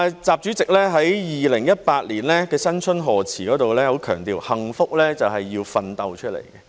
習主席在2018年的新春賀辭中很強調幸福是要奮鬥出來的。